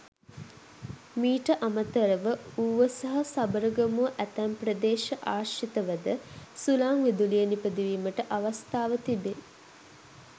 මීට අමතරව ඌව සහ සබරගමුව ඇතැම් ප්‍රදේශ ආශ්‍රිතවද සුළං විදුලිය නිපදවීමට අවස්ථාව තිබේ.